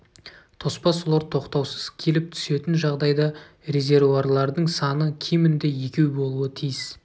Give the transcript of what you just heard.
тоспа сулар тоқтаусыз келіп түсетін жағдайда резервуарлардың саны кемінде екеу болуы тиіс